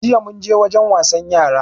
Jiya munje wajen wasan yara